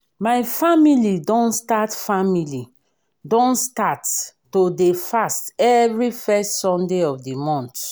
my family don start family don start to dey fast every first sunday of the month